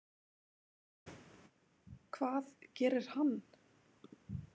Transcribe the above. Hvað gerir hann?